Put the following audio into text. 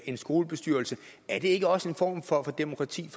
en skolebestyrelse er det ikke også en form for demokrati